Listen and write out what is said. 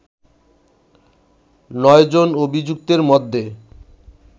৯ জন অভিযুক্তের মধ্যে